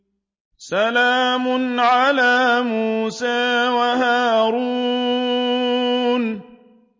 سَلَامٌ عَلَىٰ مُوسَىٰ وَهَارُونَ